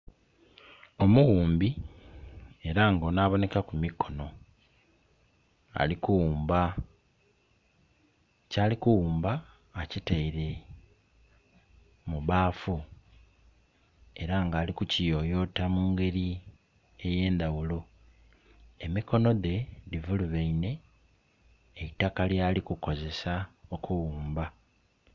Omuwumbi era nga ono abonekaku mikono ali kuwumba, kyali ku wumba akiteire mu baafu era nga ali ku kiyoyota mungeri eye ndhaghulo. Emikono dhe dhi vulubeine neitaka lyali kukozesa okuwumba.